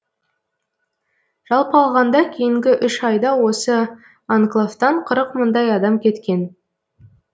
жалпы алғанда кейінгі үш айда осы анклавтан қырық мыңдай адам кеткен